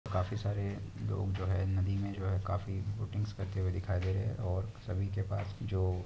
'' काफी सारे लोग जो है नदी में जो है काफी बोटिंग्स करते हुए दिखाई दे रहे है और सभी के पास जो-- ''